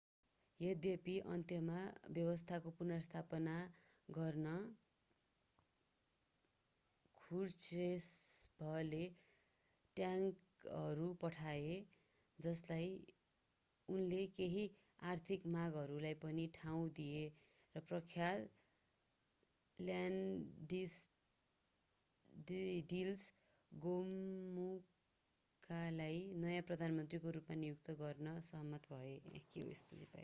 यद्यपि अन्त्यमा व्यवस्थाको पुनर्स्थापना गर्न ख्रुश्चेभले ट्याङ्कहरू पठाए उनले केही आर्थिक मागहरूलाई पनि ठाउँ दिए र प्रख्यात ल्याडिस्ल गोमुल्कालाई नयाँ प्रधानमन्त्रीको रूपमा नियुक्त गर्न सहमत भए